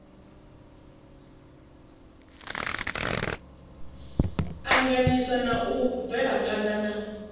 anganyisa na u bvelaphana na